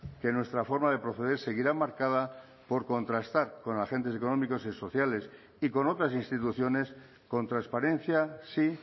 que nuestra forma de proceder seguirá marcada por contrastar con agentes económicos y sociales y con otras instituciones con transparencia sí